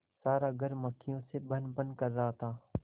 सारा घर मक्खियों से भनभन कर रहा था